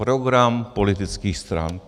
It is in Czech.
Program politických stran.